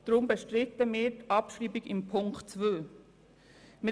Deshalb bestreiten wir die Abschreibung von Ziffer 2.